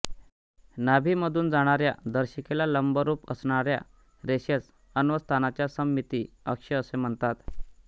नाभीमधून जाणाऱ्या दर्शिकेला लंबरूप असणाऱ्या रेषेस अन्वस्ताचा सममिती अक्ष असे म्हणतात